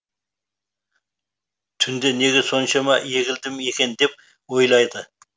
түнде неге соншама егілдім екен деп ойлады